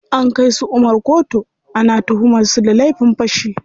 An kai su Umar koto, ana tuhumar su da laifin fashi.